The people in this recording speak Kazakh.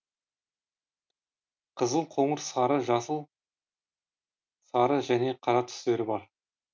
қызыл қоңыр сары жасыл сары және қара түстері бар